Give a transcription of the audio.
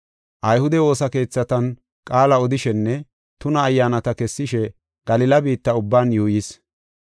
Ayhude woosa keethatan qaala odishenne tuna ayyaanata kessishe, Galila biitta ubban yuuyis.